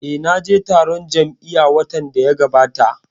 Eh, na je taron jam'iya watan da ya gabata